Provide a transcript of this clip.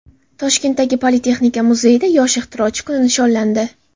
Toshkentdagi Politexnika muzeyida Yosh ixtirochi kuni nishonlandi.